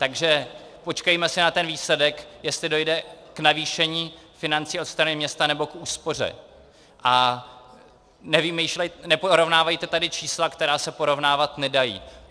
Takže počkejme si na ten výsledek, jestli dojde k navýšení financí ze strany města, nebo k úspoře, a neporovnávejte tady čísla, která se porovnávat nedají.